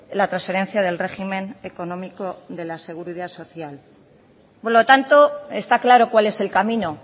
la transferencia del régimen económico de la seguridad social por lo tanto está claro cuál es el camino